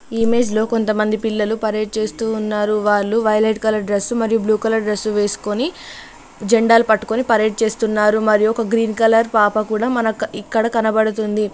ఈ ఇమేజ్ లో కొంతమంది పిల్లలు పరేడ్ చేస్తూ ఉన్నారు. వాళ్ళు వైలెట్ కలర్ డ్రెస్ మరియు బ్లూ కలర్ డ్రెస్ వేసుకొని జెండాలు పట్టుకొని పరేడ్ చేస్తున్నారు మరియు ఒక గ్రీన్ కలర్ పాప కూడా మనక్ ఇక్కడ కనబడుతుంది.